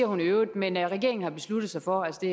hun i øvrigt men regeringen har besluttet sig for altså